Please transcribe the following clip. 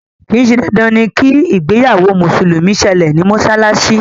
kìí ṣe dandan ni kí ìgbéyàwó mùsùlùmí sẹlẹ̀ ní mọ́sálásí